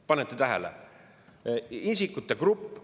Panete tähele?